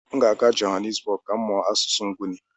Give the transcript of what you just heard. M ga-aga Johannesburg ka m mụọ asụsụ Nguni.